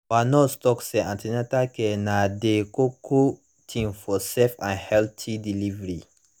our nurse talk say an ten atal care na dey koko tin for safe and healthy delivery